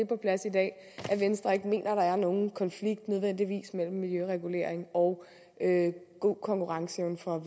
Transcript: på plads i dag at venstre ikke mener der nødvendigvis er nogen konflikt mellem miljøregulering og god konkurrenceevne for